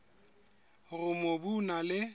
hore mobu o na le